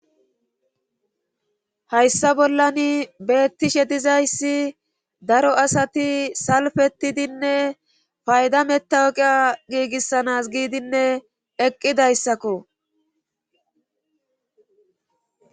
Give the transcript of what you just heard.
hayssa bollan beettishe dizayssi daro asati salfetidinne fayda mettaweqiya giigissanas giidinne eqqidayssakko